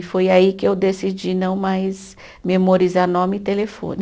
E foi aí que eu decidi não mais memorizar nome e telefone.